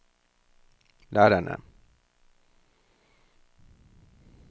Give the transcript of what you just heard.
lærerne